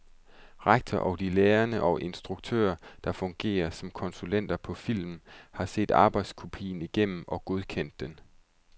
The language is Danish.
Rektor og de lærere og instruktører, der fungerer som konsulenter på filmen, har set arbejdskopien igennem og godkendt den.